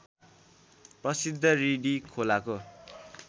प्रसिद्ध रिडी खोलाको